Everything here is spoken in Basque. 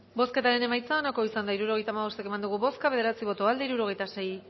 bozketaren emaitza onako izan da hirurogeita hamabost eman dugu bozka bederatzi boto aldekoa sesenta y seis